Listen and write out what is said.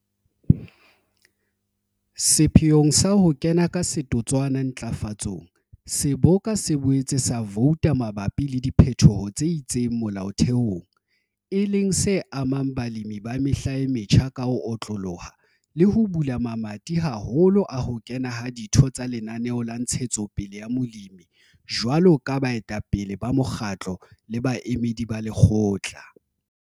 Sepheong sa ho kena ka setotswana ntlafatsong, seboka se boetse sa vouta mabapi le diphetoho tse itseng molaotheong, e leng se amang balemi ba Mehla e Metjha ka ho otloloha le ho bula mamati haholo a ho kena ha ditho tsa Lenaneo la Ntshetsopele ya Molemi jwalo ka baetapele ba mokgatlo le baemedi ba lekgotla.